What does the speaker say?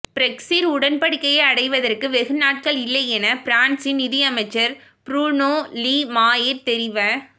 Brexit உடன்படிக்கையை அடைவதற்கு வெகுநாட்களில்லையென பிரான்ஸின் நிதியமைச்சர் புரூனோ லீ மாயிர் தெரிவ